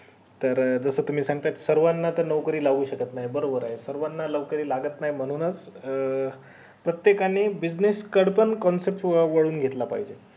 तर अं जस तुम्ही सांगतंय सर्वाना त नोकरी लावू शकत नाही तर बरोबर ये सर्वाना त नोकरी लागत नई म्हणून अं च प्रत्येकानी business concept वळून घेतला पाहिजे